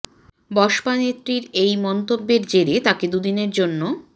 বসপা নেত্রীর এই মন্তব্যের জেরে তাঁকে দু দিনের জন্য